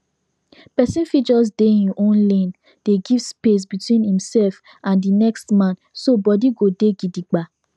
person fit just dey him own lane dey give space between himself and the next man so body go dey gidigba